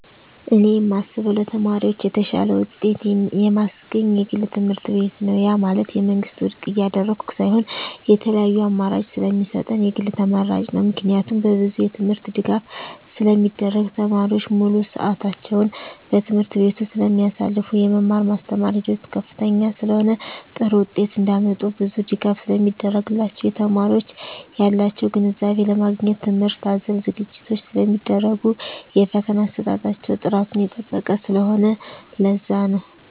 እኔ የማስበው ለተማሪዎች የተሻለ ውጤት የማስገኝ የግል ትምህርትቤት ነው ያ ማለት የመንግስትን ውድቅ እያደረኩ ሳይሆን የተለያዪ አማራጭ ስለሚሰጠን የግል ተመራጭ ነው። ምክንያቱም በብዙ የትምህርት ድጋፍ ስለሚደረግ , ተማሪዎች ሙሉ ስዕታቸውን በትምህርት ቤቱ ስለማሳልፋ , የመማር ማስተማር ሂደቱ ከፍተኛ ስለሆነ ጥሩ ውጤት እንዳመጡ ብዙ ድጋፍ ስለሚደረግላቸው , የተማሪዎች ያላቸውን ግንዛቤ ለማግኘት ትምህርት አዘል ዝግጅቶች ስለሚደረጉ የፈተና አሰጣጣቸው ጥራቱን የጠበቀ ስለሆነ ለዛ ነው